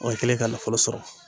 Wa i kɛlen ka nafolo sɔrɔ.